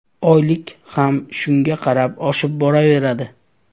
Oylik ham shunga qarab oshib boraveradi.